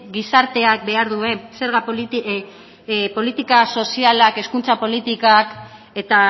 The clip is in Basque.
gizarteak behar duen politika sozialak hezkuntza politikak eta